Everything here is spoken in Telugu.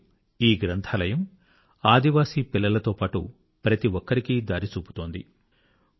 నేడు ఈ లైబ్రరీ ఆదివాసీ పిల్లలతో పాటు ప్రతి ఒక్కరికీ దారిచూపుతున్నది